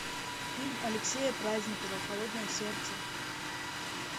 фильм алексея праздникова холодное сердце